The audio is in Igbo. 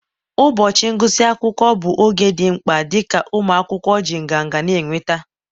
ụbọchị ngụsị akwụkwọ bụ oge dị mkpa, dịka ụmụ akwụkwọ ji nganga na-enweta